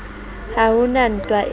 ha ho na ntwa e